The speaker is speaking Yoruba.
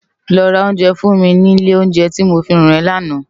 Lò rá óunjè fún mi ni ilé óunjè ti mó fihán è làná